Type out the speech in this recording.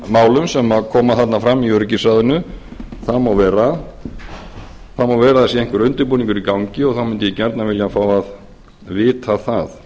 málum sem koma þarna fram í öryggisráðinu það má vera það má vera að það sé einhver undirbúningur í gangi og þá mundi ég gjarnan vilja fá að vita það